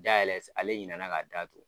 Dayɛlɛ ale ɲinna na ka da tugun.